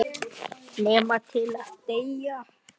Guð geymi þig, vinur.